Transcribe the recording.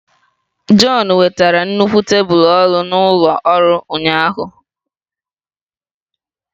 John wetara nnukwu tebụl ọrụ na ụlọ ọrụ ahụ.